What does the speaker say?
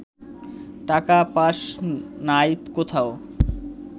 টাকা পাস নাই কোথাও